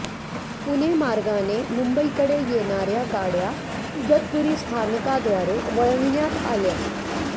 पुणे मार्गाने मुंबईकडे येणाऱ्या गाड्या इगतपुरी स्थानकाद्वारे वळवण्या आल्या